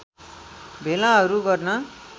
भेलाहरू गर्न